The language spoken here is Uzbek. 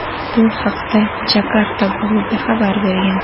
Bu haqda "Jakarta Globe" xabar bergan.